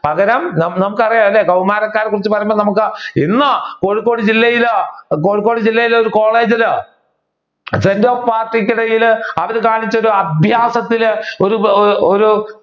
പകരം നമ്മുക്ക് അറിയാം അല്ലെ കൗമാരക്കാരെ കുറിച്ച് പറയുമ്പോൾ നമ്മുക്ക് ഇന്ന് കോഴിക്കോട് ജില്ലയില് കോഴിക്കോട് ജില്ലയിൽ ഒരു കോളേജില് sent off party ക്ക് ഇടയിൽ അത് കാണിച്ചത് അഭ്യാസത്തിൽ ഒരു